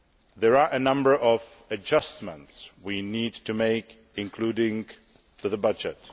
There are a number of adjustments we need to make, including to the budget.